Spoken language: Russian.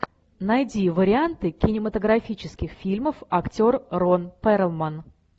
найди варианты кинематографических фильмов актер рон перлман